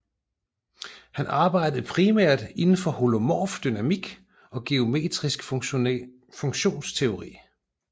Han arbejdede primært indenfor holomorf dynamikk og geometrisk funktionsteori